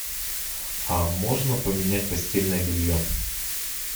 а можно поменять постельное белье